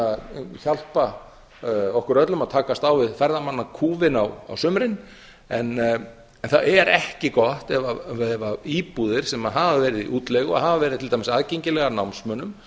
að hjálpa okkur öllum að takast á við ferðamannakúfinn á sumrin það er ekki gott ef íbúðir sem hafa verið í útleigu og hafa verið til dæmis aðgengilegar námsmönnum